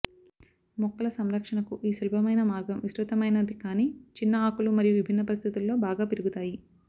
మొక్కల సంరక్షణకు ఈ సులభమైన మార్గం విస్తృతమైనది కాని చిన్న ఆకులు మరియు విభిన్న పరిస్థితుల్లో బాగా పెరుగుతాయి